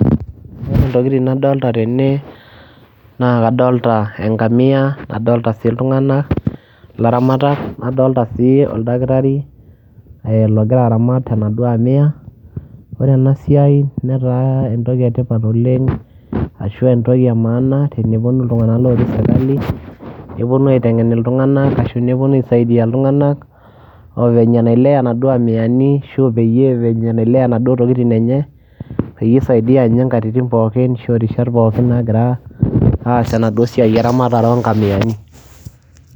ore ntokitin nadolta tene.,naa kadoolta enkamia, nadolta sii iltunganak ilaramatak. naoolta sii oldakitari, logira aramat enaduoo amia. ore ena siai netaa entoki etipat oleng ashu entoki emaana, tenepuonu iltunganak lotii sirjkali, nepuonu aitengen iltunganak ashu nepuonu aisaidia iltunganak, venye nailea, inaduoo amiani, ashu peyie venye nailea inaduoo tokitin enye. peyie eisaidia ninye nkatitin pookin ashu aa rishat naagira aas enadduoo siai eramatare oo nkamiani.